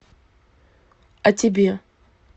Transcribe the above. а тебе